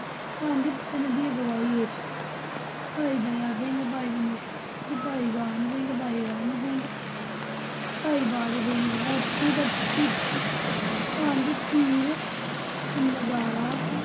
ਪੰਜ ਪਿਆਰਿਆਂ ਦੀ ਅਗਵਾਈ ਹੇਠ ਭਾਈ ਦਇਆ ਸਿੰਘ, ਭਾਈ ਵਿਨੋਦ ਸਿੰਘ, ਭਾਈ ਕਾਨ ਸਿੰਘ, ਭਾਈ ਰਣ ਸਿੰਘ ਭਾਈ ਬਾਜ ਸਿੰਘ, ਆਪਣੇ ਭੱਠੇ ਵਿਚੋਂ ਪੰਜ ਤੀਰ, ਨਗਾਰਾ,